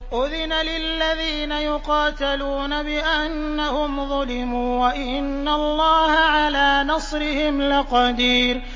أُذِنَ لِلَّذِينَ يُقَاتَلُونَ بِأَنَّهُمْ ظُلِمُوا ۚ وَإِنَّ اللَّهَ عَلَىٰ نَصْرِهِمْ لَقَدِيرٌ